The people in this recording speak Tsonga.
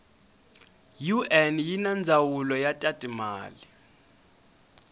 un yinandzawulo yatatimale